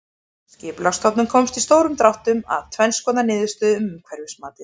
Skipulagsstofnun komst í stórum dráttum að tvenns konar niðurstöðu um umhverfismatið.